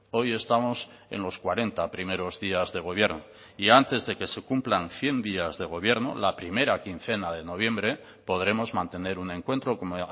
hoy estamos en los cuarenta primeros días de gobierno y antes de que se cumplan cien días de gobierno la primera quincena de noviembre podremos mantener un encuentro como